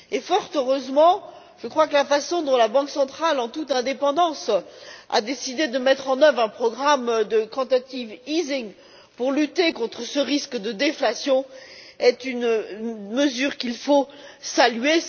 Fort heureusement, la façon dont la Banque centrale, en toute indépendance, a décidé de mettre en œuvre un programme de quantitative easing pour lutter contre ce risque de déflation, est une mesure qu'il faut saluer.